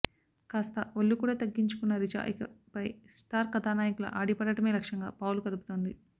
కాస్త ఒళ్ళు కూడా తగ్గించుకున్న రిచా ఇకపై స్టార్ కథానాయకుల ఆడిపాడడమే లక్ష్యంగా పావులు కదుపుతోంది